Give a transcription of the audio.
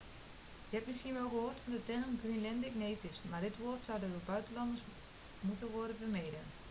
je hebt misschien wel gehoord van de term greenlandic natives maar dit woord zou door buitenlanders moeten worden vermeden